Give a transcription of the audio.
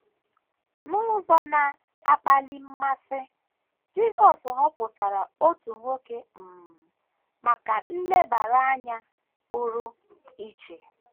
N’ụzọ na - akpali mmasị, Jisọs họpụtara otu nwoke um maka nlebara anya pụrụ iche.